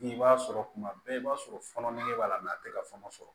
I b'a sɔrɔ kuma bɛɛ i b'a sɔrɔ fɔnɔ nege b'a la a tɛ ka fɔnɔ